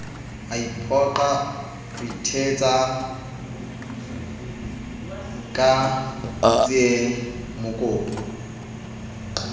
iphoqa o ithetsa ka tsiemokopu